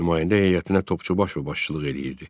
Nümayəndə heyətinə Topçubaşov başçılıq eləyirdi.